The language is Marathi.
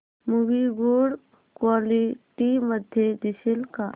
मूवी गुड क्वालिटी मध्ये दिसेल का